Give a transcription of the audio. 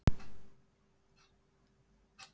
Hér í borg og nærsveitum snýst reyndar allt um vín.